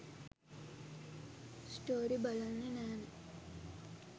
Story බලන්නෙ නැනෙ.